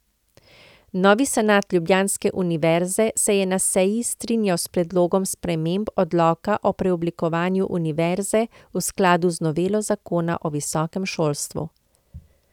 Novi senat ljubljanske univerze se je na seji strinjal s predlogom sprememb odloka o preoblikovanju univerze v skladu z novelo zakona o visokem šolstvu.